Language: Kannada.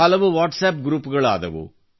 ಹಲವು ವಾಟ್ಸಪ್ ಗ್ರೂಪ್ಗಳು ಆದವು